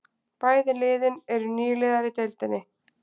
Bæði liðin eru nýliðar í deildinni